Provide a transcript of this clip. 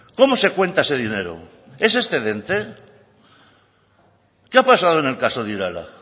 cómo se cuenta ese dinero es excedente qué ha pasado en el caso de irala